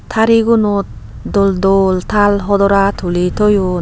Thari gunot dol dol taal hodora tuli toyon.